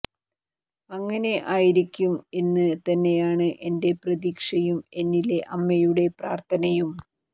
അങ്ങനെ ആയിരിക്കും എന്ന് തന്നെയാണ് എന്റെ പ്രതീക്ഷയും എന്നിലെ അമ്മയുടെ പ്രാർത്ഥനയും